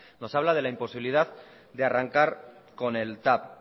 nos habla de la imposibilidad de arrancar con el tav